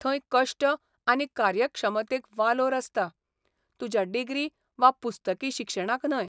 थंय कश्ट आनी कार्यक्षमतेक वालोर आसता, तुज्या डिग्री वा पुस्तकी शिक्षणाक न्हय.